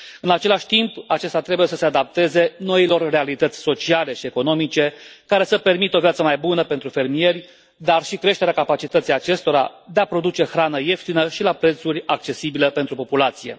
În același timp, acesta trebuie să se adapteze noilor realități sociale și economice care să permită o viața mai bună pentru fermieri, dar și creșterea capacității acestora de a produce hrană ieftină și la prețuri accesibile pentru populație.